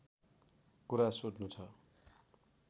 कुरा सोध्नु छ